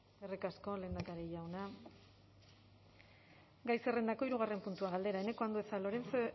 eskerrik asko lehendakari jauna gai zerrendako hirugarren puntua galdera eneko andueza lorenzo